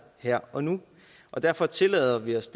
her og nu derfor tillader vi os